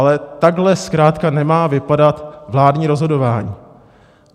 Ale takhle zkrátka nemá vypadat vládní rozhodování.